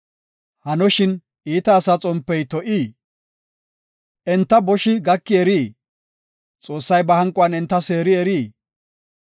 “Hanoshin, iita asaa xompey to7ii? Entana boshi gaki erii? Xoossay ba hanquwan enta seeri erii?